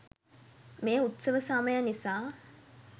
මේ උත්සව සමය නිසා